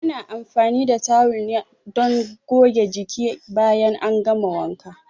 Ana anfani da tawul ne don goge jiki bayan an gama wanka.